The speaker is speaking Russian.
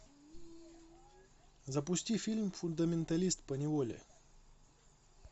запусти фильм фундаменталист поневоле